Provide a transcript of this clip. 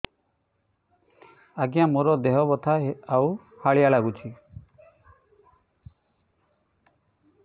ଆଜ୍ଞା ମୋର ଦେହ ବଥା ଆଉ ହାଲିଆ ଲାଗୁଚି